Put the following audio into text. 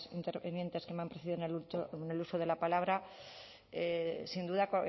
intervinientes que me han precedido en el uso de la palabra sin duda